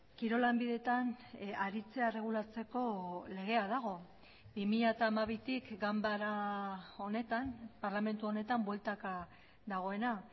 kirol lanbideetan aritzea erregulatzeko legea dago bi mila hamabitik ganbara honetan parlamentu honetan bueltaka dagoena